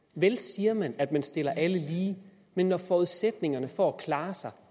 vel siger man at man stiller alle lige men når forudsætningerne for at klare sig